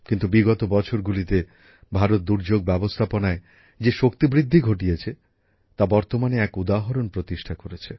কিন্তু বিগত বছরগুলিতে ভারত দুর্যোগ ব্যবস্থাপনায় যে শক্তিবৃদ্ধি ঘটেছে তা বর্তমানে এক উদাহরণ প্রতিষ্ঠা করেছে